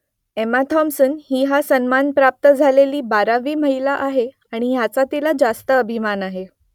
Emma Thompson ही हा सन्मान प्राप्त झालेली बारावी महिला आहे आणि याचा तिला रास्त अभिमान आहे